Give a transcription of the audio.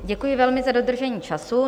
Děkuji velmi za dodržení času.